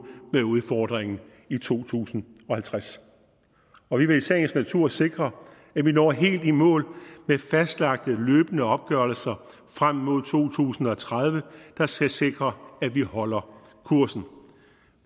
med udfordringen i to tusind og halvtreds og vi vil i sagens natur sikre at vi når helt i mål med fastlagte løbende opgørelser frem mod to tusind og tredive der skal sikre at vi holder kursen